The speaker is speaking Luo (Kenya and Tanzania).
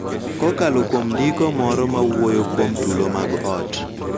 Kokalo kuom ndiko moro ma wuoyo kuom tulo mag ot,